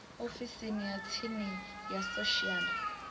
ofisini ya tsini ya social